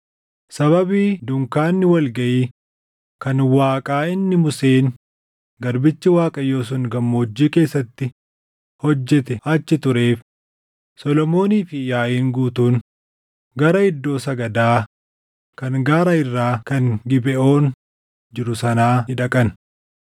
sababii dunkaanni wal gaʼii kan Waaqaa inni Museen garbichi Waaqayyoo sun gammoojjii keessatti hojjete achi tureef Solomoonii fi yaaʼiin guutuun gara iddoo sagadaa kan gaara irraa kan Gibeʼoon jiru sanaa ni dhaqan.